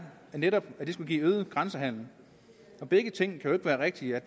netop at det skulle give øget grænsehandel begge ting kan jo ikke være rigtige